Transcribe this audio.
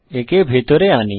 একে ভিতরে আনি